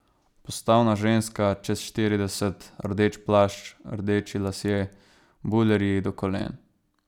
Postavna ženska, čez štirideset, rdeč plašč, rdeči lasje, bulerji do kolen.